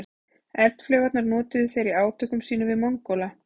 Eldflaugarnar notuðu þeir í átökum sínum við Mongóla.